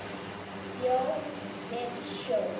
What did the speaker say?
Lón við sjó.